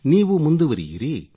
ನೀವೂ ಮುಂದುವರಿಯಿರಿ